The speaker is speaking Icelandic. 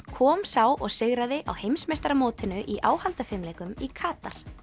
kom sá og sigraði á heimsmeistaramótinu í áhaldafimleikum í Katar